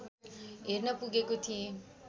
हेर्न पुगेको थिएँ